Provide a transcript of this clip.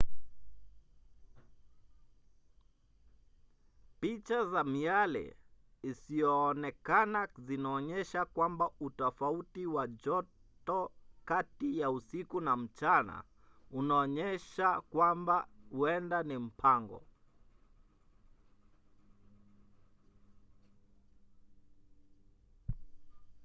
picha za miale isiyoonekana zinaonyesha kwamba utofauti wa joto kati ya usiku na mchana unaonyesha kwamba huenda ni mapango